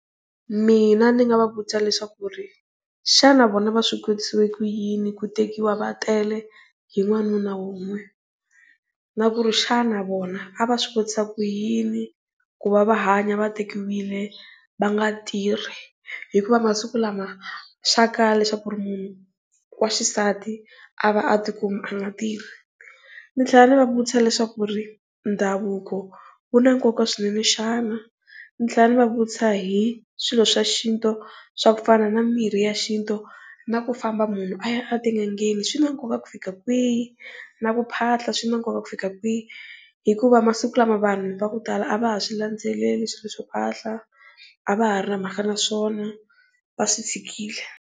Mina ndzi nga va vutisa leswaku ri xana vona va swi kotise ku yini ku tekiwa va tele hi n'wanuna wun'we na ku ri xana vona a va swi kotisa ku yini ya ku va va hanya va tekiwile va nga tirhi, hikuva masiku lama swa kala leswaku munhu wa xisati a va a ti kuma . Ndzi tlhela ndzi va vutisa leswaku ri ndhavuko wu na nkoka swinene xana, ndzi tlhela ndzi va vutisa hi swilo swa xintu swa ku pfuna na mimirhi ya xintu na ku famba munhu a ya a tin'angeni swi na nkoka ku fika kwihi. Na ku phahla swi na nkoka ku fika kwihi, hikuva masiku lama vanhu va ku tala a va ha swi landzeleli swihlahla a va ha ri na mhaka na swona va swi tshikile.